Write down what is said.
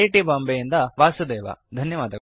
ಧನ್ಯವಾದಗಳು